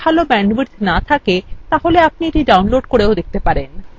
আপনার যদি ভাল bandwidth না থাকে আপনি এটি download করেও দেখতে পারেন